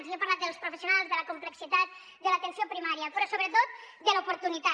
i he parlat dels professionals de la complexitat de l’atenció primària però sobretot de l’oportunitat